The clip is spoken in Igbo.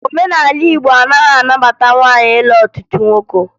Omenala Igbo anaghị anabata nwaanyị ịlụ ọtụtụ nwoke